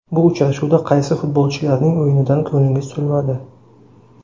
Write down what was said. Bu uchrashuvda qaysi futbolchilarning o‘yinidan ko‘nglingiz to‘lmadi?